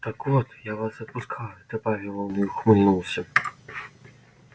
так вот я вас отпускаю добавил он и ухмыльнулся